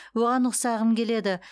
оған ұқсағым келеді